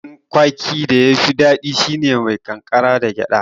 Haɗin garin kwaki da yafi daɗi shine mai ƙankara da gyaɗa